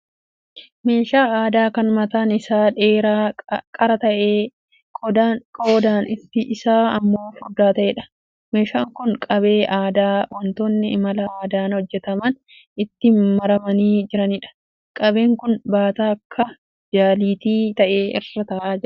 Meeshaa aadaa kan mataan isaa dheeraa qara ta'ee goodaan isaa immoo furdaa ta'eedha. Meeshaan kun qabee aadaa wantoonni mala aadaan hojjetaman itti maramanii jiraniidha. Qabeen kun baataa akka jaliitii ta'e irra ta'aa jira.